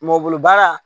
Mɔ bolo baara